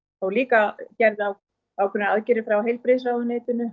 líka aðgerðir frá heilbrigðisráðuneytinu